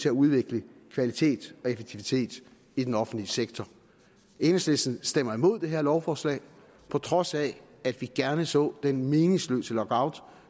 at udvikle kvalitet og effektivitet i den offentlige sektor enhedslisten stemmer imod det her lovforslag på trods af at vi gerne så den meningsløse lockout